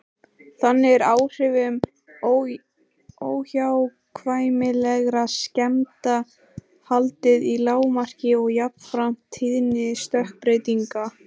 Þannig er áhrifum óhjákvæmilegra skemmda haldið í lágmarki og jafnframt tíðni stökkbreytinga.